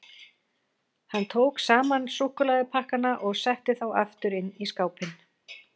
Hann tók saman súkkulaðipakkana og setti þá aftur inn í skápinn.